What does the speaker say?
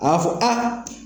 A b'a fɔ